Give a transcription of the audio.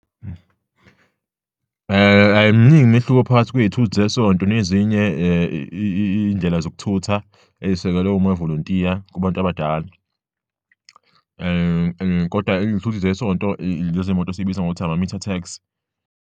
Ayiminingi imehluko phakathi kwey'thuthu zesonto nezinye iy'ndlela zokuthutha ey'sekelwe omavolontiya kubantu abadala kodwa iy'thuthi zesonto, lezi zimoto esiyibiza ngokuthi ama-metre taxi.